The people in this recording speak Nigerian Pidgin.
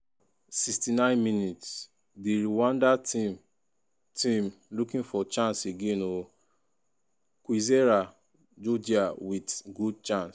69mins- di rwanda team team looking for chance again ooo kwizera jojea wit good chance.